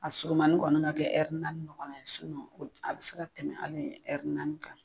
A surumani kɔni ka kɛ naani ɲɔgɔn na a bi se ka tɛmɛ hali kan.